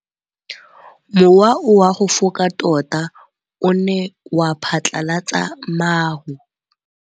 Mowa o wa go foka tota o ne wa phatlalatsa maru.